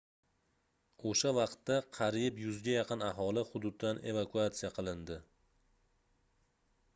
oʻsha vaqtda qariyb 100 ga yaqin aholi hududdan evakuatsiya qilindi